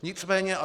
Nicméně atd.